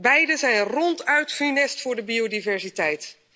Beide zijn ronduit funest voor de biodiversiteit.